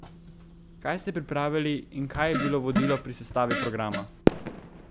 Kaj ste pripravili in kaj je bilo vodilo pri sestavi programa?